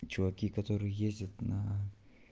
чуваки которые ездят на